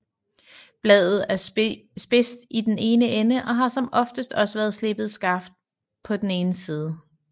Bladet er spidst i den ene ende og har som oftest også været slebet skarpt på den ene side